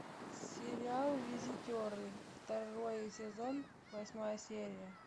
сериал визитеры второй сезон восьмая серия